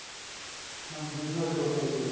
ਹਾਂਜੀ business ਤੋਰ ਤੇ ਜੀ